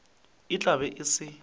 e tla be e se